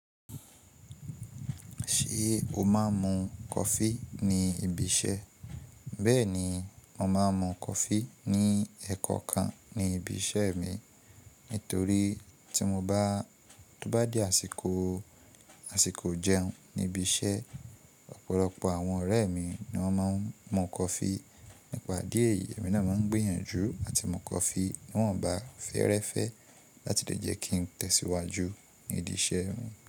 Ṣé o máa ń mu coffee ní ibi iṣẹ́? Bẹ́ẹ̀ni, mo máa ń mu coffee ní ẹ̀ẹ̀kọ̀kan ní ibi iṣẹ́ mi. Nítorí tí ó bá di àsìkò ijẹun níbi iṣẹ́, ọ̀pọ̀lọpọ̀ àwọn ọ̀rẹ́ mi ni wọ́n máa ń mu coffee. Nípa díẹ̀ yìí, èmi náà máa ń gbìyànjú àti mu coffee bí wọ́n ò bá fẹ́rẹ́fẹ́ láti lè jẹ́ kí n tẹ̀síwájú nídi iṣẹ́ mi.